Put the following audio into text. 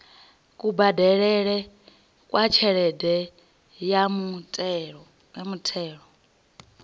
kubadelele kwa tshelede ya muthelo